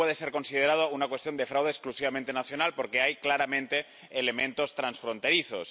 No puede ser considerado una cuestión de fraude exclusivamente nacional porque hay claramente elementos transfronterizos